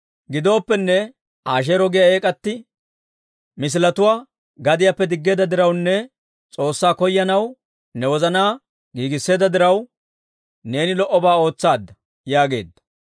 Gidooppenne, Asheero giyaa eek'atti misiletuwaa gadiyaappe diggeedda dirawunne S'oossaa koyanaw ne wozanaa giigisseedda diraw, neeni lo"obaa ootsaadda» yaageedda.